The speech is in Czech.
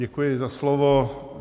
Děkuji za slovo.